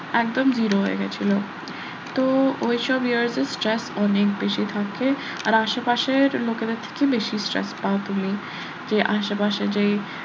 একদম zero হয়ে গেছিলো তো ওইসব year এর stress অনেক বেশি থাকে আর আশেপাশের লোকেদের থেকে বেশি stress পাও তুমি যে আশেপাশে যেই,